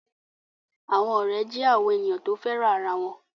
Àwọn ọ̀rẹ́ jẹ́ àwọn ènìyàn tí o féràn ara wọn